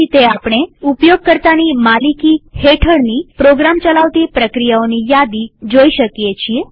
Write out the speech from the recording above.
આ રીતે આપણે ઉપયોગકર્તાની માલિકી હેઠળની પ્રોગ્રામ ચલાવતી પ્રક્રિયાઓની યાદી જોઈ શકીએ છીએ